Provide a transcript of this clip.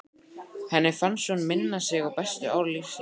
Henni fannst hún minna sig á bestu ár lífsins.